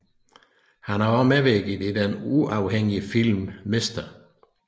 Han har også medvirket i den uafhængige film Mr